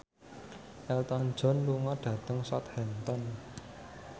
Elton John lunga dhateng Southampton